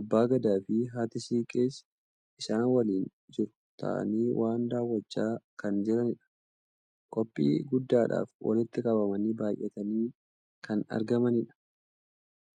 Abbaan gadaafi haati siiqqees isaan waliin jiru taa'anii waa daawwachaa kan jiranidha. Qophii guddaadhaaf walitti qabamanii baay'atanii kan argamanidha.